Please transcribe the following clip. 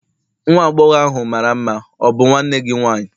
nwa agbọghọ ahụ mara mma, ọ bụ nwanne gị nwanyị?